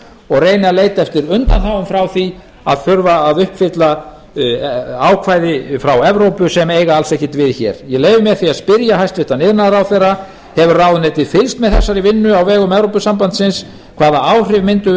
og reyna að leita eftir undanþágum frá því að þurfa að uppfylla ákvæði frá evrópu sem eiga alls ekkert við hér ég leyfi mér því að spyrja hæstvirtur iðnaðarráðherra hefur ráðuneytið fylgst með þessari vinnu á vegum evrópusambandsins hvaða áhrif mundu